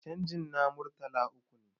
canji na Murtala uku ne